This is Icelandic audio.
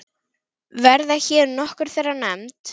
Verða hér nokkur þeirra nefnd.